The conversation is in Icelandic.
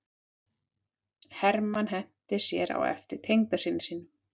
Hermann henti sér á eftir tengdasyni sínum.